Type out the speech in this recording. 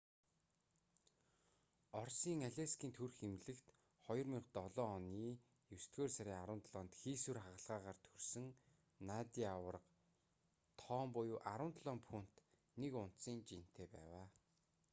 оросын алейскийн төрөх эмнэлэгт 2007 оны есдүгээр сарын 17-нд хийсвэр хагалгаагаар төрсөн надя аварга том буюу 17 фунт 1 унцын жинтэй байв